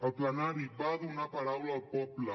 el plenari va donar paraula al poble